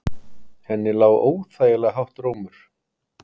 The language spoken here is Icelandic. Henni lá óþægilega hátt rómur.